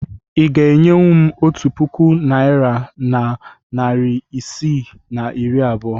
Ị ga-enyenwu m otu puku naịra na narị isii na iri abụọ?